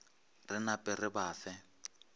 re nape re ba fe